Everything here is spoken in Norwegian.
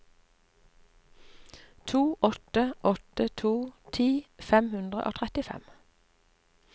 to åtte åtte to ti fem hundre og trettifem